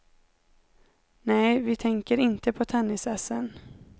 Nej, vi tänker inte på tennisässen.